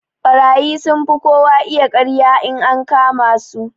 Ɓarayi sunfi kowa iya karya in aka kama su.